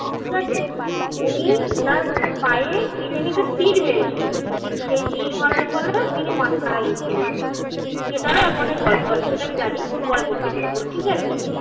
ঠিক যাচ্ছে উনি ওনার পায়ে কে জানি একটা তীর মেরেছিল. সেই তীর মারার ফলে তিনি মারা গেছিলেন. সেটাও এখন অনেক গল্প আছে. সেটা আমি জানি. পরে বলব ক্ষণ. ঠিক আছে